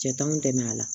Cɛ t'anw dɛmɛ a la